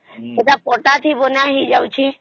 ହେଟା ପଟ ଟେ ହିଁ ବନ ହେଇ ଯାଉଛେ